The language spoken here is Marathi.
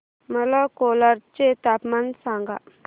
मला कोलाड चे तापमान सांगा